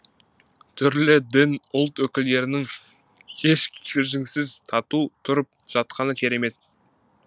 түрлі дін ұлт өкілдерінің еш кикілжіңсіз тату тұрып жатқаны керемет